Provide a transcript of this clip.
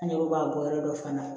An yɛrɛ b'a bɔ yɔrɔ dɔ fana